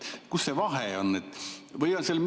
Kust see vahe tuleb?